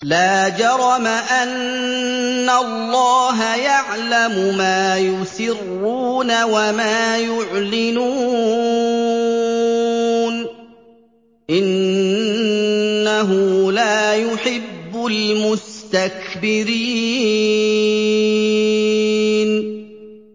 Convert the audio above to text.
لَا جَرَمَ أَنَّ اللَّهَ يَعْلَمُ مَا يُسِرُّونَ وَمَا يُعْلِنُونَ ۚ إِنَّهُ لَا يُحِبُّ الْمُسْتَكْبِرِينَ